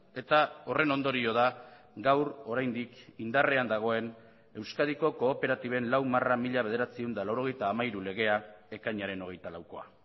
eta horren ondorio da gaur oraindik indarrean dagoen euskadiko kooperatiben lau barra mila bederatziehun eta laurogeita hamairu legea ekainaren hogeita laukoa